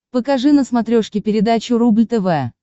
покажи на смотрешке передачу рубль тв